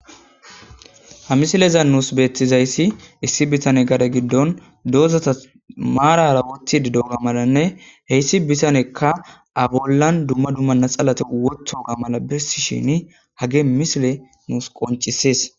Ha misilezan nuussi beeththizayssi issi bithane gade giddon doozatha maaraara ooththiiddi dooga malanne he issi bithanekka a bollan dumma dumma natsalathi wodhdhi7uththoogaa mala bessisheeni hagee misilee nuus qonccissees.